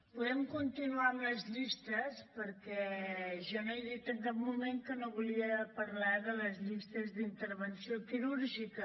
podem continuar amb les llistes perquè jo no he dit en cap moment que no volia parlar de les llistes d’intervenció quirúrgica